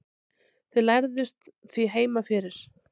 þau lærðust því heima fyrir